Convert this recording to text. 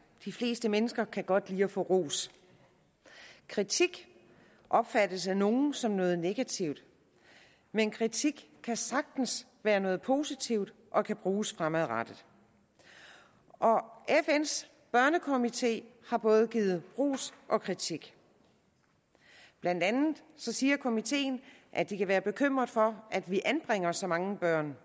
de fleste mennesker kan godt lide at få ros kritik opfattes af nogle som noget negativt men kritik kan sagtens være noget positivt og kan bruges fremadrettet fns børnekomité har givet både ros og kritik blandt andet siger komiteen at de kan være bekymret for at vi anbringer så mange børn